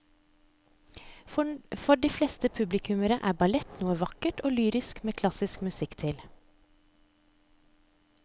For de fleste publikummere er ballett noe vakkert og lyrisk med klassisk musikk til.